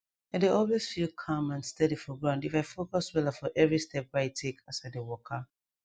i dey always feel calm and steady for ground if i focus wella for every step wey i take as i dey waka